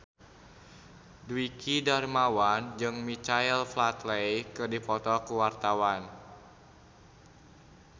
Dwiki Darmawan jeung Michael Flatley keur dipoto ku wartawan